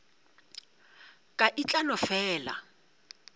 ka e tla no fela